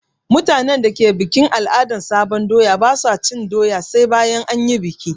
Mutanen da ke bukin al'adan sabon doya ba su cin doya sai bayan an yi bikin.